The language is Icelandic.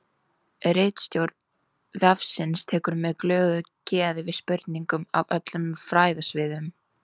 Ritstjórn vefsins tekur með glöðu geði við spurningum af öllum fræðasviðum.